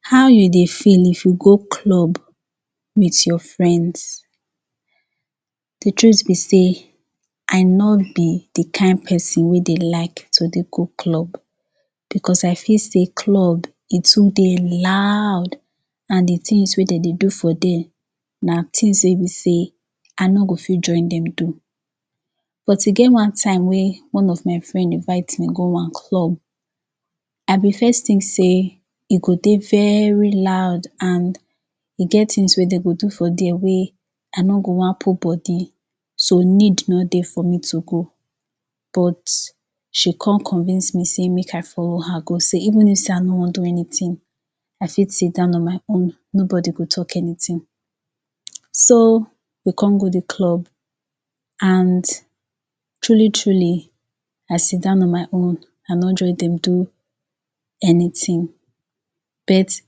How you dey feel if you go club? meet your friends de truth be say I no be de kind person wey dey like to dey go club because I feel sey club e too dey loud and de tins wey dey dey do for dey na tins wey be sey I no go fit join dem do but e get one time wey one of my friend invite me go one club I be first tink sey e go dey very loud and e get tins wey dey go do for dey wey I no go want put body so need no dey for me to go but she come convince me say make I follow her go sey, even if sey I no want do anytin I fit sidown on my own, nobody go talk anytin so - o we come go de club and truly truly I sidown on my own I no join dem do anytin but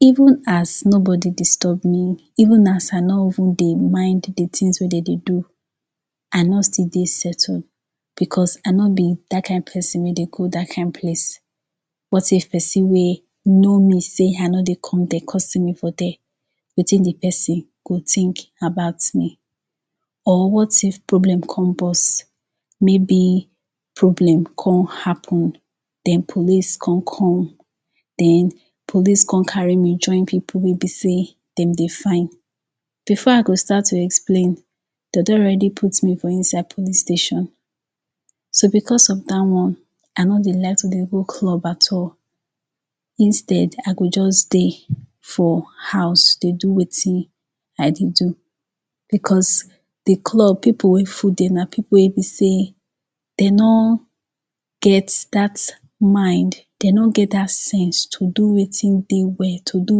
even as nobody disturb me even as I no even mind de tins wey dem dey do I no still dey settle because I no be dat kind person wey dey go dat kind place what if person wey know me sey I no dey come dey, come see me for dey wetin de person go tink about me? or what if problem come burst? maybe problem come happen den police come come den police come carry me join people wey be sey dem dey find before I go start to explain dem don already put me for inside plice station so because of dat one I no dey like to dey go club at all instead, I go just dey for house, dey do wetin I dey do because de club; people wey full dey, na pepole wey be sey dey no get dat mind dey no get dat sense to do wetin dey well, to do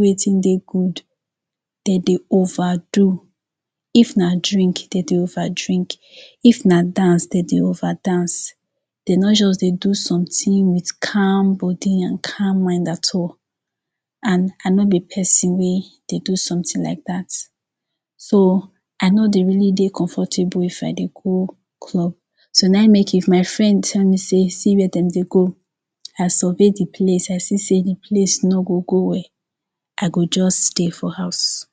wetin dey good dey dey over do if na drink, dey dey over drink if na dance, dey dey over dance dey no just dey do sometin wit calm body and calm mind at all and I no be person wey dey do sometin like dat so - o I no dey really dey comfortable if I dey go club so, na e make, if my friend tell me say, see where dem dey go I survey de place, I see sey de place no go go well I go just stay for house.